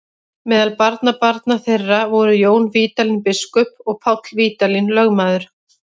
Meðal barnabarna þeirra voru Jón Vídalín biskup og Páll Vídalín lögmaður.